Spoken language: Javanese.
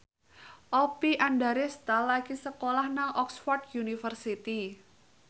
Oppie Andaresta lagi sekolah nang Oxford university